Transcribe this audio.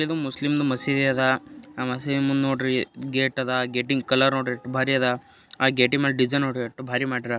ಇದು ಮುಸ್ಲಿಂದು ಮಸೀದಿ ಅದ. ಆ ಮಸೀದಿ ಮುಂದ್ ನೋಡ್ರಿ ಗೇಟ್ ಅದ. ಗೇಟಿನ್ ಕಲರ್ ನೋಡ್ರಿ ಎಷ್ಟ್ ಬಾರಿ ಅದ. ಆ ಗೇಟಿನ್ಮೇಲೆ ಡಿಸೈನ್ ನೋಡ್ರಿ ಎಷ್ಟ್ ಬಾರಿ ಮಾಡ್ಯಾರ.